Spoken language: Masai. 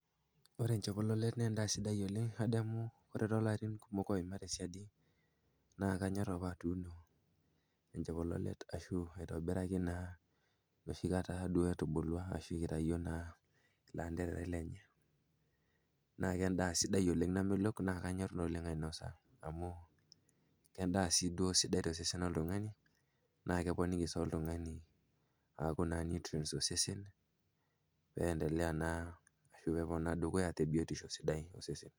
Ore enchekulolet na endaa sidai oleng' adamu toolarin kumok oima tesiadi naa kanyorr apa atuuno enchekulolet ashu aitobiraki naa enoshikata duo etubulua ashu itayuo naa ilanterera lenye naa kendaa namelok sidai oleng' namelok naa kanyorr doi oleng' ainosa amu kendaa sii duo sidai tosesen loltung'ani naa keponiki sii oltung'ani aaku naa nutrients tosesen pee iendelea ashu pee epuo naa dukuya te biotisho sidai osesen.